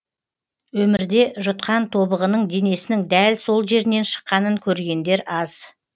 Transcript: өмірде жұтқан тобығының денесінің дәл сол жерінен шыққанын көргендер аз